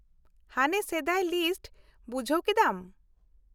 - ᱦᱟᱱᱮ ᱥᱮᱫᱟᱭ ᱞᱤᱥᱴ , ᱵᱩᱡᱷᱟᱹᱣ ᱠᱮᱫᱟᱢ ᱾